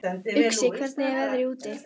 Uxi, hvernig er veðrið úti?